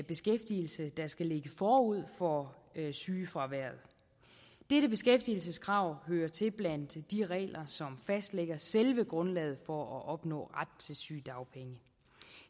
beskæftigelse der skal ligge forud for sygefraværet dette beskæftigelseskrav hører til blandt de regler som fastlægger selve grundlaget for at opnå ret til sygedagpenge